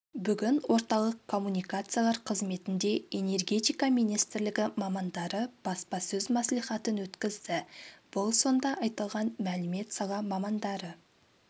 бүгін орталық коммуникациялар қызметінде энергетика министрлігі мамандары баспасөз мәслихатын өткізді бұл сонда айтылған мәлімет сала мамандары